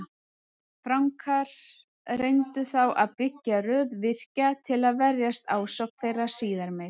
Frankar reyndu þá að byggja röð virkja til að verjast ásókn þeirra síðar meir.